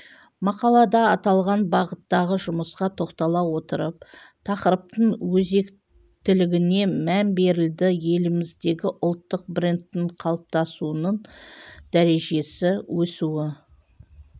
мақалада аталған бағыттағы жұмысқа тоқтала отырып тақырыптың өзектілігіне мән берілді еліміздегі ұлттық брендтің қалыптасуының дәрежесі өсуі